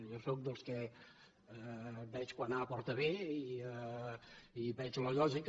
jo sóc dels que veig quan a porta a b i veig la lògica